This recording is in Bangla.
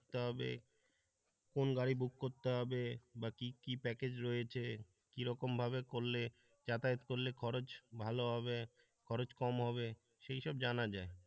তবে কোন গাড়ি বুক করতে হবে বা কি কি প্যাকেজ রয়েছে কি রকম ভাবে করলে যাতায়াত করলে খরচ ভালো হবে খরচ কম হবে সেইসব জানা যায়।